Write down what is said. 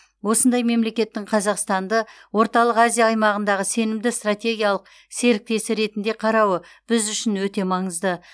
осындай мемлекеттің қазақстанды орталық азия аймағындағы сенімді стратегиялық серіктесі ретінде қарауы біз үшін өте маңызды